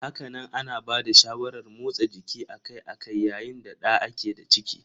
Hakanan ana bada shawarar motsa jiki akai-akai yayin da da a ke da ciki.